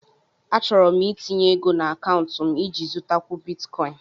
Achọrọ m itinye ego na akaụntụ m iji zụtakwu Bitikoin